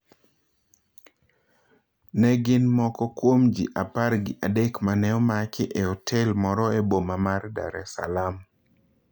Ne gin moko kuom ji apar gi adek mane omaki e otel moro e boma mar Dar es Salaam.